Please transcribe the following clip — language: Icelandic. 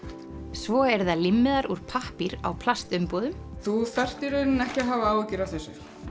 svo eru það úr pappír á plastumbúðum þú þarft í rauninni ekki að hafa áhyggjur af þessu